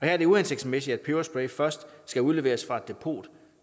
er det uhensigtsmæssigt at peberspray først skal udleveres fra et depot